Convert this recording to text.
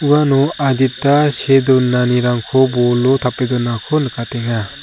uano adita see donanirangko bolo tape donako nikatenga.